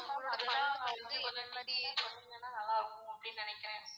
அது தான் எந்தெந்த மாதிரி சொன்னிங்கனா நல்லார்க்கும் அப்டினு நினைக்குறேன்.